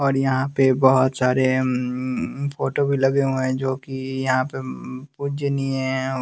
और यहां पे बहोत सारे ऊं फोटो भी लगे हुए हैं जो कि यहां पे ऊं पूजनीय एं--